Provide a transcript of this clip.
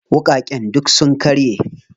Wuƙaƙen duk sun karye.